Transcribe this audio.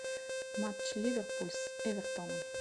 матч ливерпуль с эвертоном